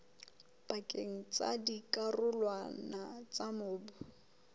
pakeng tsa dikarolwana tsa mobu